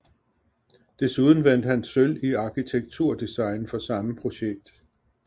Desuden vandt han sølv i arkitekturdesign for samme projekt